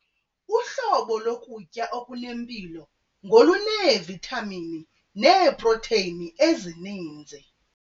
Uhlobo lokutya okunempilo ngoluneevithamini neeprotheyini ezininzi.